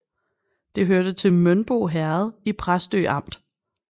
Det hørte til Mønbo Herred i Præstø Amt